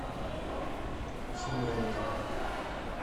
семеновым